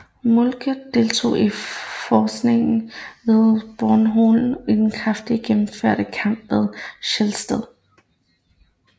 Moltke deltog i fægtningen ved Bornhøved og i den kraftig gennemførte kamp ved Sehested